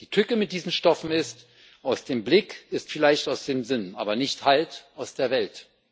Die Tücke mit diesen Stoffen ist Aus dem Blick ist vielleicht aus dem Sinn, aber halt nicht aus der Welt.